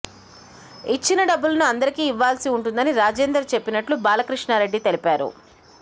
ఇచ్చిన డబ్బులను అందరికీ ఇవ్వల్సి ఉంటుందని రాజేందర్ చెప్పినట్లు బాలకృష్ణారెడ్డి తెలిపారు